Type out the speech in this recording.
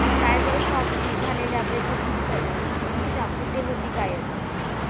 Tiger श्रॉफशी झालेल्या ब्रेकअपनंतर दिशा कुठे होती गायब?